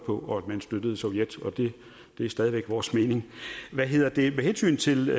på og at man støttede sovjet det er stadig væk vores mening med hensyn til